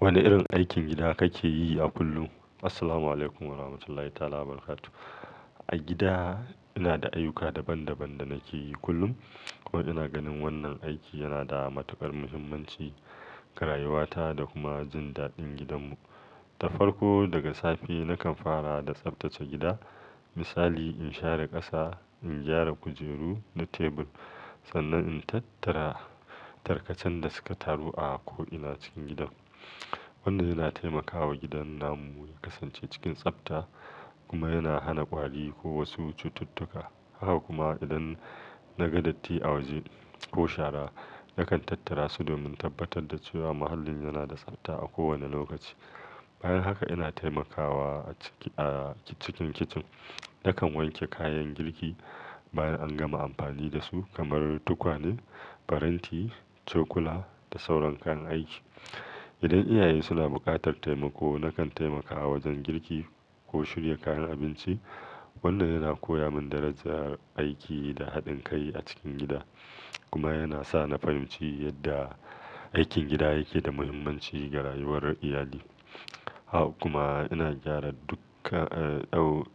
Wane irin aikin gida kake yi a kullum? Assalamualaikum Warahmatullahi Wabarakatuh. A gida ina da ayyuka daban-daban da nake yi kullum, kuma ina ganin wannan aiki yana da matukar muhimmanci ga rayuwata da kuma jin daɗin gidanmu. Ta farko daga safe, nakan fara da tsaftace gida. Misali, in share ƙasa, in gyara kujeru da tebur, sannan in tattara tarkacen da suka taru a ko'ina cikin gidan. Wannan yana taimakawa gidan namu ya kasance cikin tsafta kuma yana hana ƙwari ko wasu cututtuka. Haka kuma idan naga datti a waje ko shara, nakan tattara su domin tabbatar da cewa muhallin yana da tsabta a kowane lokaci. Bayan haka ina taimakawa a cikin kicin. Nakan wanke kayan girki bayan an gama amfani da su kamar tukwane, faranti, cokula da sauran kayan aiki. Idan iyaye suna buƙatar taimako, nakan taimakawa wajen girki ko shirya kayan abinci. Wannan yana koya min darajar aiki da haɗin kai a cikin gida kuma yana sa na fahimci yadda aikin gida yake da muhimmanci ga rayuwar iyali. Haka kuma ina gyara dukka--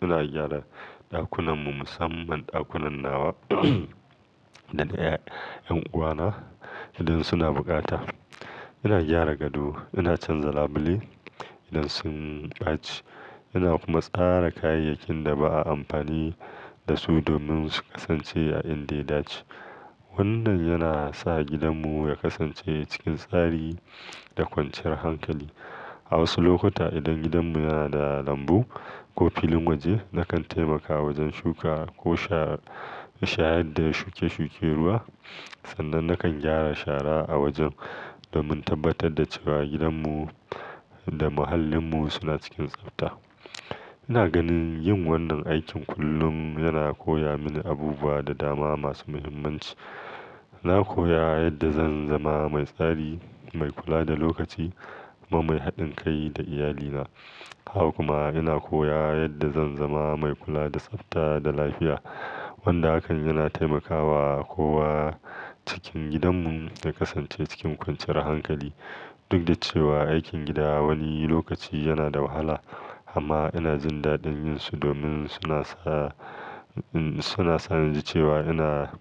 ina gyara ɗakunanmu, musamman ɗakunan nawa da na 'yan uwana idan suna bukata. Ina gyara gado, ina canza labule idan sun ɓaci, ina kuma tsara kayayyakin da ba a amfani da su domin su kasance a inda ya dace. Wannan yana sa gidanmu ya kasance cikin tsari da kwanciyar hankali. A wasu lokuta idan gidanmu yana da lambu ko filin waje, nakan taimakawa wajen shuka ko shayar da shuke-shuken ruwa. Sannan nakan gyara shara a wajen domin tabbatar da cewa gidanmu da muhallinmu suna cikin tsafta. Ina ganin yin wannan aikin kullum yana koya mini abubuwa da dama masu muhimmanci. Na koya yadda zan zama mai tsari, mai kula da lokaci kuma mai haɗin kai da iyalina. Haka kuma ina koya yadda zan zama mai kula da tsafta da lafiya, wanda hakan yana taimakawa kowa cikin gidanmu ya kasance cikin kwanciyar hankali. Duk da cewa aikin gida wani lokaci yana da wahala amma ina jin daɗin yin su domin suna sa, suna sa ni ji cewa ina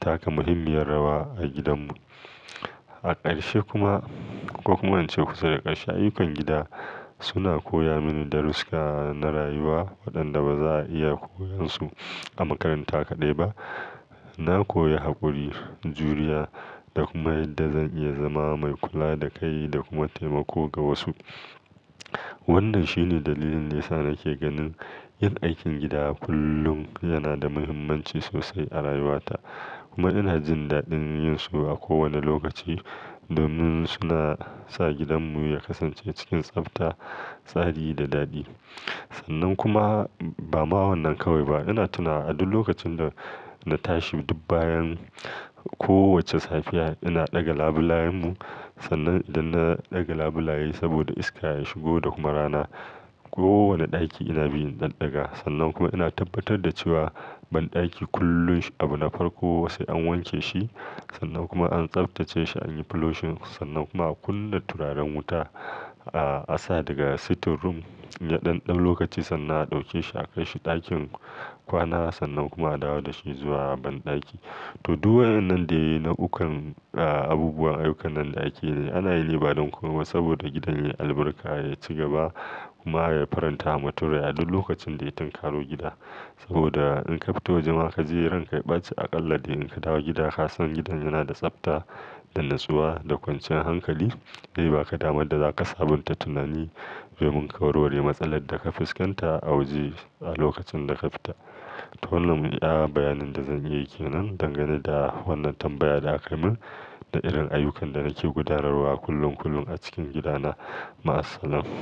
taka muhimmiyar rawa a gidanmu. A ƙarshe kuma, ko kuma in ce kusa da ƙarshe, ayyukan gida suna koya mini darusuka na rayuwa waɗanda ba za a iya koyan su a makaranta kaɗai ba. Na koyi haƙuri, juriya da kuma yadda zan iya zama mai kula da kai da kuma taimako ga wasu. Wannan shine dalilin da ya sa nake ganin yin aikin gida kullum yana da muhimmanci sosai a rayuwata. Kuma ina jin daɗin yin su a kowane lokaci domin suna sa gidanmu ya kasance cikin tsafta, tsari da daɗi. Sannan kuma ba ma wannan kawai ba, ina tuna a duk lokacin da na tashi, duk bayan kowace safiya ina ɗaga labulayenmu. Sannan idan na ɗaga labulaye saboda iska ya shigo da kuma rana. Kowane ɗaki ina bi ɗanɗaga, sannan kuma ina tabbatar da cewa banɗaki kullum abu na farko sai an wanke shi sannan kuma an tsaftace shi, an yi flushing sannan kuma a kunna turaren wuta, a sa daga sitting room yaɗan ɗan lokaci sannan a ɗauke shi a kai shi ɗakin kwana sannan kuma a dawo da shi zuwa banɗaki. To, duk wadannan dai na'ukan, ah, abubuwan ayyukan banɗaki ne ana yi ne bayan koma saboda gidan yayi albarka, ya ci gaba kuma ya faranta wa mutum rayuwa a duk lokacin da ya tangalo gida. Saboda in ka fito waje ma kaji ranka ya ɓace aƙalla dai in ka dawo gida ka san gidan yana da tsafta da natsuwa da kwanciyar hankali. Zai ba ka damar da za ka sabunta tunani domin ka warware matsalar da ka fuskanta a waje a lokacin da ka fita. To wannan ne ɗan bayanin da zan iya yi ke nan dangane da wannan tambaya da aka yi min da irin ayyukan da nake gudanarwa kullum kullum a cikin gidana. Ma'asalama.